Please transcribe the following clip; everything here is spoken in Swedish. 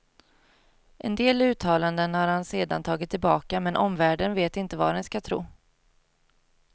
En del uttalanden har han sedan tagit tillbaka men omvärlden vet inte vad den skall tro.